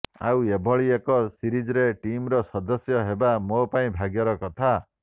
ଆଉ ଏଭଳି ଏକ ସିରିଜରେ ଟିମର ସଦସ୍ୟ ହେବା ମୋ ପାଇଁ ଭାଗ୍ୟର କଥା